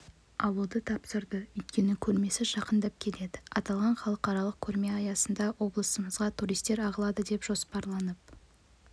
алуды тапсырды өйткені көрмесі жақындап келеді аталған халықаралық көрме аясында облысымызға туристер ағылады деп жоспарланып